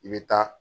I bɛ taa